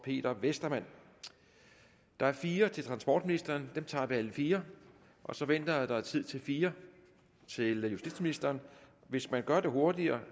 peter westermann der er fire til transportministeren og dem tager vi alle fire og så venter jeg at der er tid til fire til justitsministeren hvis man gør det hurtigere